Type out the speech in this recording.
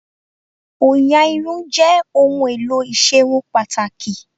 Òyà Irun jẹ́ ohun èlò ìserun pàtàkì